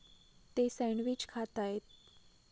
ते सँडविच खाताहेत.